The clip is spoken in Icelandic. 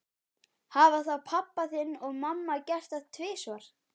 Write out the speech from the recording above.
Hafa þá pabbi þinn og mamma gert það tvisvar?